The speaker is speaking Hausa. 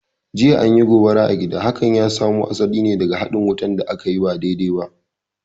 Jiya, an yi gobara a gida, hakan ya samo asali ne daga haɗin wutan da akayi ba daidai ba